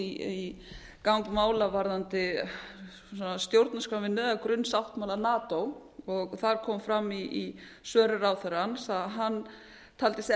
í gang mála varðandi stjórnarskrárvinnu eða grunnsáttmála nato þar kom fram í svörum ráðherrans að hann taldi sig